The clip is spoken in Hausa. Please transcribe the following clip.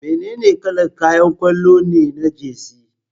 Menene kalar kayan kwallo ne na Jersey?